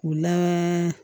O la